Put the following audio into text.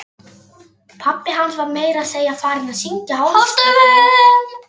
Pabbi hans var meira að segja farinn að syngja hástöfum!